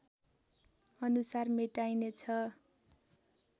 अनुसार मेटाइनेछ